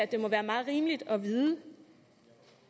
det må være meget rimeligt at vide